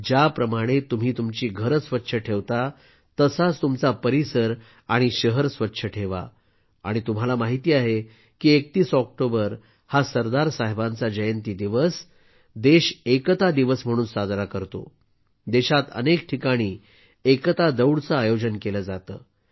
ज्याप्रमाणे तुम्ही तुमची घरे स्वच्छ ठेवता तसाच तुमचा परिसर आणि शहर स्वच्छ ठेवा आणि तुम्हाला माहिती आहे की 31 ऑक्टोबर हा सरदार साहेबांचा जयंती दिवस देश एकता दिवस म्हणून साजरा करतो देशात अनेक ठिकाणी एकता दौड चे आयोजन केले जाते